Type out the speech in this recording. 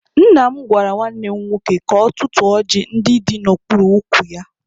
Nna m gwara nwanne m nwoke ka ọ tụtụọ ọjị ndị dị n'okpuru ukwu ya.